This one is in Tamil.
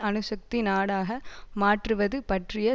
அணுசக்தி நாடாக மாற்றுவது பற்றிய